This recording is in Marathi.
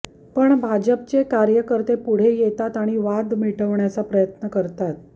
पण भाजपचे कार्यकर्ते पुढे येतात आणि वाद मिटवण्याचा प्रयत्न करतात